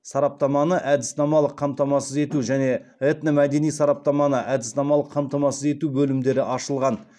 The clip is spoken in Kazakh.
сараптаманы әдіснамалық қамтамасыз ету және этномәдени сараптаманы әдіснамалық қамтамасыз ету бөлімдері ашылған